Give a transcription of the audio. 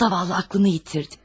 Yazıq ağlını itirdi.